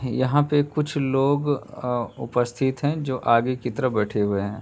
यहाँ पे कुछ लोग अ उपस्थित हैं जो आगे की तरफ बैठे हुए हैं।